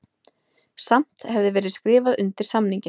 Samt hefði verið skrifað undir samninginn